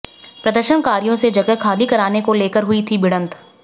प्रदर्शनकारियों से जगह खाली कराने को लेकर हुई थी भिड़ंत